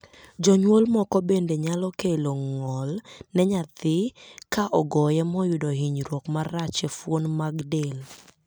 Jonyuol moko bende nyalo kelo ng'ol ne nyathi ka ogoye moyudo hinyruok marach e fuon mag del.